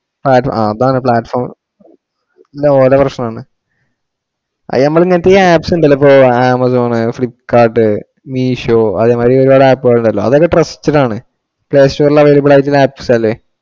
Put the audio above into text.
ആ അതാണ് platform, ഇല്ല ഓടെ പ്രശ്‍നം ആണ്. അത് നമക്കി Apps ഉണ്ടല്ലോ Amazon, Flipkart, Meesho അതെ മാതിരി ഒരുപാടു App ഉകൾ ഉണ്ടല്ലോ അതൊക്കെ trusted ആണ്. available ആയിട്ടുള്ള Apps അല്ലെ.